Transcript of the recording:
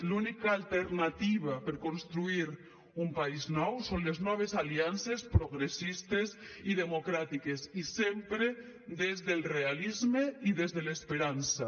l’única alternativa per construir un país nou són les noves aliances progressistes i democràtiques i sempre des del realisme i des de l’esperança